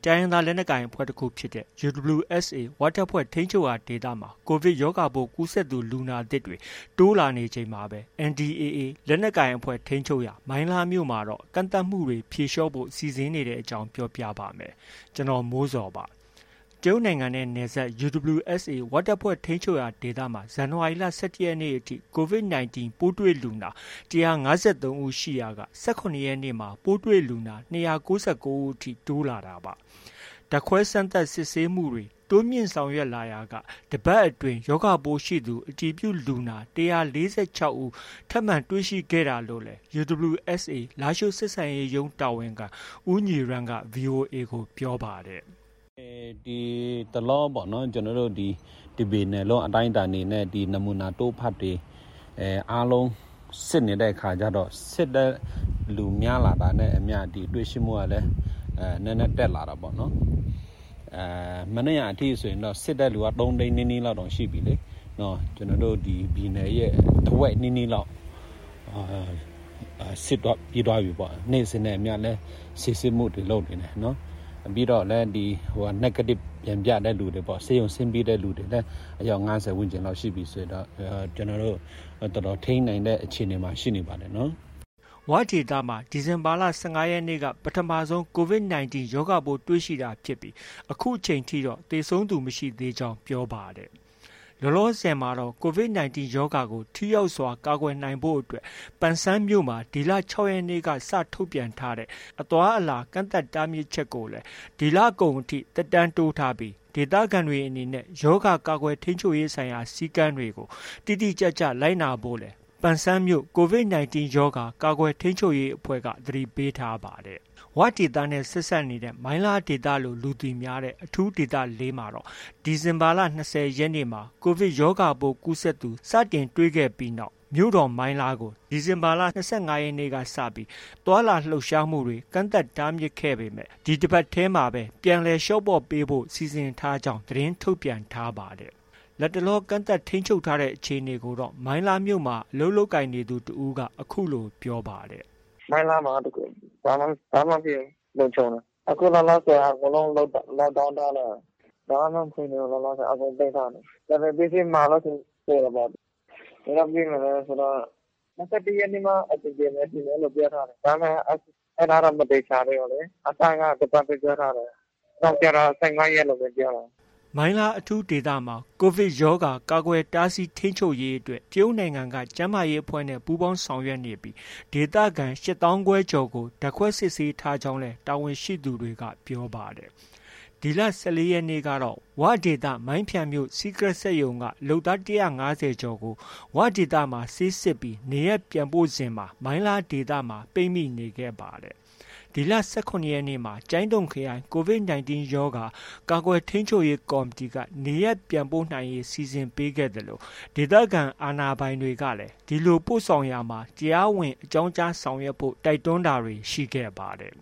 တိုင်းရင်းသားလက်နက်ကိုင် အင်အားကြီးအဖွဲ့တခုဖြစ်တဲ့ UWSA ဝ တပ်ဖွဲ့ ထိန်းချုပ်ရာဒေသမှာ ကိုဗစ်ရောဂါပိုး ကူးစက်သူ လူနာသစ်တွေ တိုးလာနေချိန်မှာပဲ NDAA လက်နက်ကိုင်အဖွဲ့ ထိန်းချုပ်ရာ မိုင်းလားမြို့မှာတော့ ကန့်သတ်ချက်တွေ ဖြေလျော့ဖို့ စီစဉ်နေတဲ့အကြောင်း ပြောပြပါမယ်။ ဗွီအိုအေမြန်မာပိုင်းသတင်းထောက် ကိုမိုးဇော်က သတင်းပေးပို့ထားပါတယ်။ တရုတ်နိုင်ငံနဲ့နယ်စပ် UWSA ဝတပ်ဖွဲ့ ထိန်းချုပ်ရာဒေသမှာ ဇန်နဝါရီလ ၁၁ ရက်နေ့အထိ COVID 19 ပိုးတွေ့လူနာ ၁၅၃ ဦးရှိရာက ၁၇ ရက်နေ့မှာ ပိုးတွေ့လူနာ ၂၉၉ ဦးအထိ တိုးလာပါတယ်။ ဓာတ်ခွဲစမ်းသပ်စစ်ဆေးမှုတွေ တိုးမြှင့်ဆောင်ရွက်လာရာက တစ်ပတ်အတွင်း ရောဂါပိုးရှိသူ အတည်ပြုလူနာ ၁၄၆ ဦး ထပ်မံ တွေ့ရှိခဲ့တာလို့လည်း UWSA လားရှိုးဆက်ဆံရေးရုံးတာဝန်ခံ ဦးညီရန်းက VOA ကို ပြောပါတယ်။ “ဒီတလောပေါ့နော်... တစ်ပြည်နယ်လုံး အတိုင်းအတာနဲ့ နမူနာတို့ဖတ်တွေ အားလုံးစစ်နေတဲ့အခါကျတော့ စစ်တဲ့သူများလာတာနဲ့ အမျှ ဒီတွေ့ရှိမှုကလည်း နည်းနည်းတက်လာတာပေါ့နော်။ မနေ့က အထိဆိုရင်တော့ စစ်တဲ့သူက ၃၀၀,၀၀၀ နီးနီးလောက်တောင်ရှိပြီလေ။ ကျနော်တို့ ပြည်နယ်ရဲ့ တစ်ဝက်နီးနီးလောက် စစ်ပြီးသွားပြီပေါ့။ နေ့စဉ်နဲ့အမျှလည်း စစ်ဆေးမှုတွေ လုပ်နေတယ်။ ပြီးတော့ Negative ပြန်ပြတဲ့လူတွေလည်း ဆေးရုံကဆင်းပြီးတဲ့လူတွေလည်း အယောက် ၅၀ လောက်ရှိပြီဆိုတော့ ကျနော်တို့ တော်တော်ထိန်းနိုင်တဲ့ အခြေအနေမှာ ရှိနေပါတယ်နော်။” ၀ ဒေသမှာ ဒီဇင်ဘာလ ၁၅ ရက်နေ့က ပထမဆုံး COVID 19 ရောဂါ ပိုးတွေ့ရှိတာဖြစ်ပြီး အခုအချိန်ထိတော့ သေဆုံးသူ မရှိသေးကြောင်းလည်း ပြောပါတယ်။ လောလောဆယ်မှာတော့ COVID 19 ရောဂါကို ထိရောက်စွာ ကာကွယ်နိုင်ဖို့အတွက် ပန်ဆန်းမြို့မှာ ဒီလ ၆ ရက်နေ့ကစ ထုတ်ပြန်ထားတဲ့ အသွားအလာကန့်သတ် တားမြစ်ချက်ကိုလည်း ဒီလကုန်အထိ သက်တမ်းတိုးထားပြီး၊ ဒေသခံတွေ အနေနဲ့ ရောဂါ ကာကွယ်ထိန်းချုပ်ရေးဆိုင်ရာ စည်းကမ်းတွေကို တိတိကျကျ လိုက်နာဖို့လည်း ပန်ဆန်းမြို့ COVID-19 ရောဂါ ကာကွယ်ထိန်းချုပ်ရေးအဖွဲ့က သတိပေးထားပါတယ်။ ဝဒေသနဲ့ ဆက်စပ်နေတဲ့ မိုင်းလားဒေသလို့ လူသိများတဲ့ အထူးဒေသ ၄ မှာတော့ ဒီဇင်ဘာလ ၂၀ ရက်နေ့မှာ ကိုဗစ်ရောဂါပိုး ကူးစက်သူ စတင်တွေ့ခဲ့ပြီးနောက် မြို့တော် မိုင်းလားကို ဒီဇင်ဘာလ ၂၅ ရက်နေ့ကစ သွားလာလှုပ်ရှားမှုတွေ ကန့်သတ်တားမြစ်ထားပေမဲ့ ဒီတပတ်ထဲမှာပဲ ပြန်လည်လျှော့ပေါ့ပေးဖို့ စီစဉ်ထားကြောင်းလည်း သတင်းထုတ်ပြန်ထားပါတယ်။ လတ်တလော ကန့်သတ်ထိန်းချုပ်ထားတဲ့ အခြေအနေကိုတော့ မိုင်းလားမြို့မှာ အလုပ်လုပ်ကိုင်နေသူတစ်ဦးက အခုလို ပြောပါတယ်။ “မိုင်းလားမှာက ဘာမှ မဖြစ်ဘူး။ လုံခြုံတယ်။ အခုလောလောဆယ်က အကုန်လုံး Lockdown ထားတယ်။ ဘာမှ မဖွင့်သေးဘူး။ လောလောဆယ် အကုန်ပိတ်ထားတယ်။ ဒါပေမဲ့ ပစ္စည်းမှာလို့ရှိရင် ပို့တာပေါ့။ ဘယ်တော့ ပြီးမလဲ ဆိုတော့ ၂၁ ရက်နေ့မှ အဆင်ပြေမယ်ထင်တယ်။ အဲဒီလို ပြောထားတယ်။ အဲဒါလည်း မသေချာသေးဘူးလေ။ အစက တစ်ပတ်ပဲပြောထားတယ်။ နောက်တော့ ၁၅ ရက်လို့ ပြောတယ်။ ” မိုင်းလား အထူးဒေသမှာ ကိုဗစ်ရောဂါ ကာကွယ်တားဆီးထိန်းချုပ်ရေးအတွက် တရုတ်နိုင်ငံက ကျန်းမာရေးအဖွဲ့နဲ့ ပူးပေါင်းဆောင်ရွက်နေပြီး ဒေသခံ ၈၅,၀၀၀ ကျော်ကို ဓာတ်ခွဲစစ်ဆေးထားကြောင်းလည်း တာဝန်ရှိသူတွေက ပြောပါတယ်။ ဒီလ ၁၄ ရက်နေ့ကတော့ ဝဒေသ မိုင်းဖျန်မြို့ စီးကရက်စက်ရုံက လုပ်သား ၁၅၀ ကျော်ကို ဝဒေသမှာ ဆေးစစ်ပြီး နေရပ်ပြန်ပို့စဉ်မှာ မိုင်းလားဒေသမှာ ပိတ်မိနေခဲ့ပါတယ်။ ဒီလ ၁၇ ရက်မှာ ကျိုင်းတုံခရိုင် COVID 19 ရောဂါ ကာကွယ်ထိန်းချုပ်ရေးကော်မတီက နေရန်ပြန်နိုင်ရေး စီစဉ်ပေးခဲ့သလို ဒေသခံအာဏာပိုင်တွေကလည်း ဒီလို ပို့ဆောင်ရာမှာ တရားဝင် အကြောင်းကြားဆောင်ရွက်ဖို့ တိုက်တွန်းတာတွေ ရှိခဲ့ပါတယ်